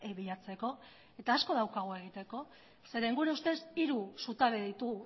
bilatzeko eta asko daukagu egiteko zeren gure ustez hiru zutabe ditu